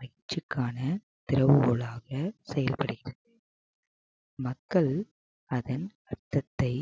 வெற்றிக்கான திறவுகோலாக செயல்படுகிறது மக்கள் அதன் அர்த்தத்தை